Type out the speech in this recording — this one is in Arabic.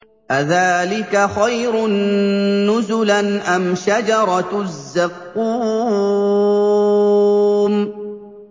أَذَٰلِكَ خَيْرٌ نُّزُلًا أَمْ شَجَرَةُ الزَّقُّومِ